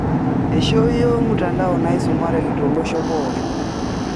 Aishooyio mtandao naisumareki tolosho pookin